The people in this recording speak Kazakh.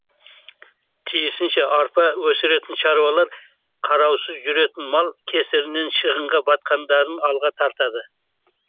тиісінше арпа өсіретін шаруалар қараусыз жүретін мал кесірінен шығынға батқандарын алға тартады